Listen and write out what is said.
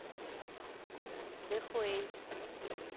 дэхуэй